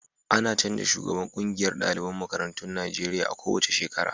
A na canja shugaban ƙungiyar daliban makarantun Najeriya a ko wace shekara